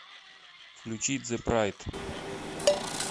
включи зе прайд